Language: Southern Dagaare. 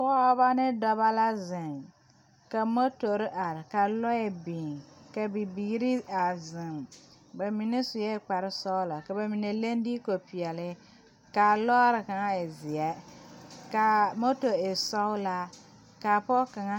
Pɔgebɔ ne dɔbɔ la ziŋ ka motore are ka lɔre a biŋ ka bibiiri a ziŋ ba mine sue kpare sɔglɔ ka bamine leŋ diikopeɛle kaa lɔɔre kaŋ e zeɛ kaa moto e sɔglaa kaa pɔge kaŋa.